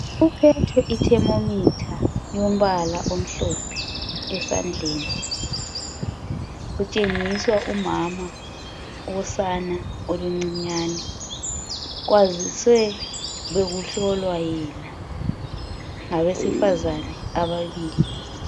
Kuphethwe i thermometer yombala omhlophe esandleni kutshengiswa umama wosane oluncinyane kwazise bekuhlolwa yena ngabesifazana ababili.